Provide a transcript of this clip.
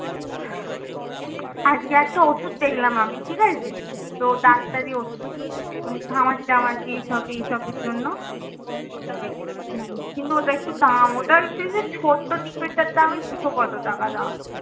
আজকে একটা ওষুধ দেখলাম আমি ঠিক আছে? তো ডাক্তারি ওষুধ ঘামাচি টামাচি এইসব এইসবের জন্য তো কিন্তু ওটা একটু দাম ওটার হচ্ছে যে ছোট্ট দুশো কত টাকা দাম।